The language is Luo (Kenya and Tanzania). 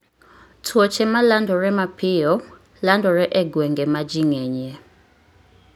Tuoche ma landore mapiyo landore e gwenge ma ji ng'enyie.